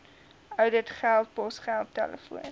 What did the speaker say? ouditgelde posgeld telefoon